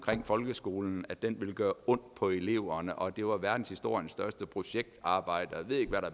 folkeskolen altså at den vil gøre ondt på eleverne og at det var verdenshistoriens største projektarbejde